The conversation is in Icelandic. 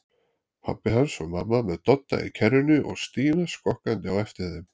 Pabbi hans og mamma með Dodda í kerrunni og Stína skokkandi á eftir þeim.